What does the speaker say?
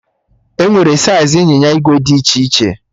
Enwere saiz ịnyịnya ìgwè dị iche iche